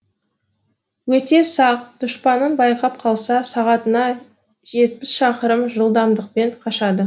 өте сақ дұшпанын байқап қалса сағатына жетпіс шақырым жылдамдықпен қашады